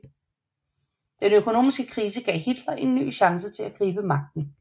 Den økonomiske krise gav Hitler en ny chance til at gribe magten